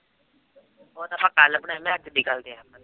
ਉਹ